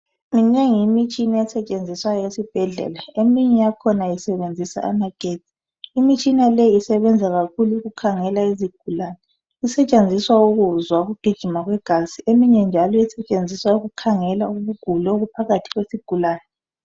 Minengi imitshina esetshenziswayo esibhedlela. Eminye yakhona isebenzisa amagetsi. Imitshina le isebenza kakhulu ukukhangela izigulane. Esetshenziswa ukuzwa ukugijima kwegazi. Eminye njalo ukukhangela ukugula okuphakathi kwesigulani.